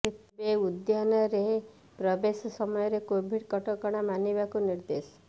ତେବେ ଉଦ୍ୟାନରେ ପ୍ରବେଶ ସମୟରେ କୋଭିଡ଼ କଟକଣା ମାନିବାକୁ ନିର୍ଦ୍ଦେଶ